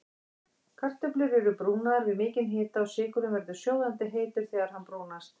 Kartöflur eru brúnaðar við mikinn hita og sykurinn verður sjóðandi heitur þegar hann brúnast.